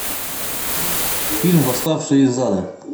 фильм восставший из ада